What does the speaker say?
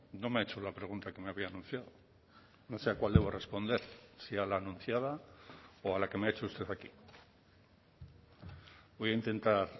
no me ha hecho la pregunta que me había anunciado no sé a cuál debo responder si a la anunciada o a la que me ha hecho usted aquí voy a intentar